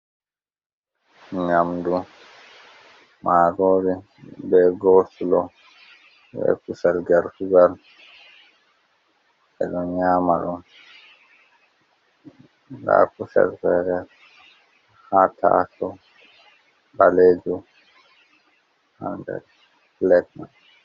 Nyamdu marori be goslo be kusel gortugal. Enɗo nyama ɗum ha kusel fere ha ta sau ɓalejum hander plet.